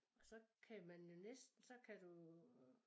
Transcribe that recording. Så kan man jo næsten så kan du øh